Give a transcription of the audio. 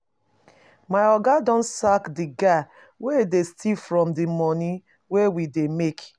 My Oga don sack the guy wey dey steal from the money wey we dey make